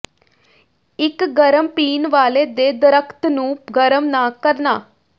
ਇੱਕ ਗਰਮ ਪੀਣ ਵਾਲੇ ਦੇ ਦਰਖ਼ਤ ਨੂੰ ਗਰਮ ਨਾ ਕਰਨਾ